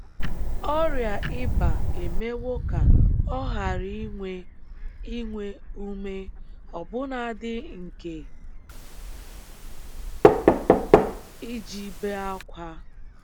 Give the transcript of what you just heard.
Ọrịa ịba emewo ka ọ ghara inwe inwe ume ọbụnadị nke iji bee ákwá.